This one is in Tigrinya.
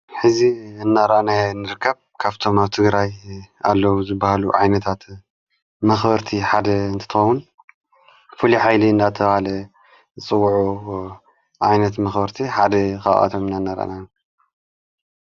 ሕዚ እነራና ንርከብ ካብቶም ኣብ ትግራይ ኣለዉ ዘበሃሉ ዓይነታት መኽወርቲ ሓደ እንትተዉን ፈሉኃይሊ እናተባለ ጽዉዑ ዓይነት መኽወርቲ ሓደ ኻኣቶም እናእነራና።